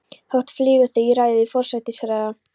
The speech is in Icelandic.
Þota flýgur yfir í ræðu forsætisráðherra.